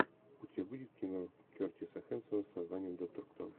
у тебя будет кино кертиса хэнсона с названием доктор кто